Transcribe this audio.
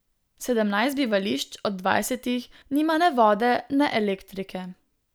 Sedemnajst bivališč od dvajsetih nima ne vode ne elektrike.